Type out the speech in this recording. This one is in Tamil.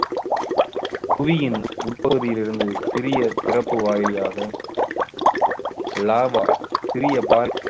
புவியின் உட்~ உட்பகுதியிலிருந்து சிறிய திறப்பு வழியாக lava சிறிய பா~